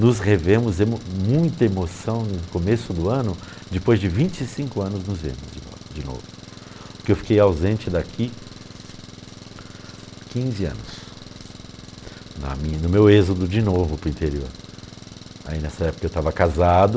nos revemos e muita emoção no começo do ano depois de vinte e cinco anos nos vemos de novo de novo por que eu fiquei ausente daqui há quinze anos na minha no meu êxodo de novo para o interior aí nessa época eu estava casado